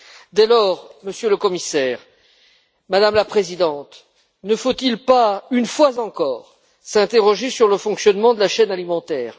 Dès lors, Monsieur le Commissaire, Madame la Présidente, ne faut il pas, une fois encore, s'interroger sur le fonctionnement de la chaîne alimentaire?